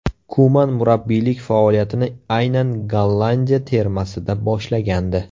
Kuman murabbiylik faoliyatini aynan Gollandiya termasida boshlagandi.